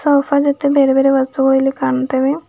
Soap ಜೊತೆ ಬೇರೆಬೇರೆ ವಸ್ತುಗಳು ಇಲ್ಲಿ ಕಾಣುತ್ತವೆ.